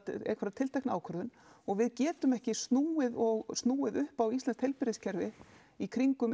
tiltekna ákvörðun og við getum ekki snúið og snúið upp á íslenskt heilbrigðiskerfi í kringum